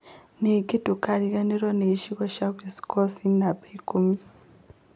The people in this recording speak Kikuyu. Ningĩ ndũkariganĩrũo nĩ gĩcigo gĩa Wisconsin (namba ikumi),